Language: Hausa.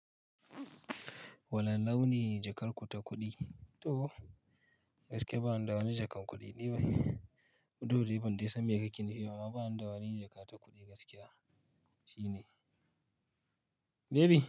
Wani launi jakar ku ta kuɗi? Toh, gaskiya bani da wani jakan kuɗi ba. Dukda dai ban dai san me kake nufi. Baba an da wani jaka ta kuɗi gaskiya. Shi ne. Baby.